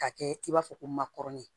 K'a kɛ i b'a fɔ ko makɔrɔni